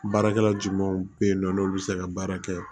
Baarakɛla jumanw bɛ yen nɔ n'olu bɛ se ka baara kɛ